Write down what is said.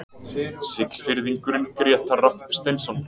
Siglfirðingurinn Grétar Rafn Steinsson